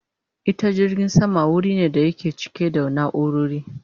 Ita filin jirgin sama wuri ne da yake cike da naurori